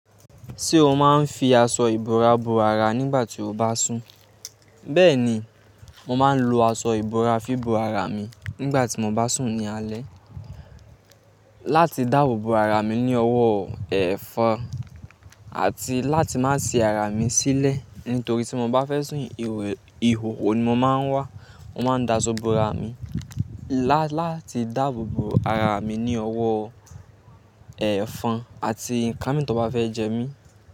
Ṣé o máa ń fi aṣọ ìbora bo ara nígbà tí o bá sùn? Bẹ́ẹ̀ ni, mo máa ń lo aṣọ ìbora fi bo ara mi nígbà tí mo bá sùn ní alẹ́ láti dáàbò bo ara mi ní ọwọ́ ẹ̀fọn àti láti má sì ara mi sílẹ̀ nítorí tí mo bá fẹ́ sùn ihòho ni mo máa ń wà. Mo máa ń da aṣọ bo ara mi láti dáàbò bo ara mi ní ọwọ́ ẹ̀fọn àti ǹkan tí wọn bá fẹ́ jẹ mí.